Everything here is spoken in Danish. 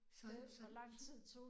Så så så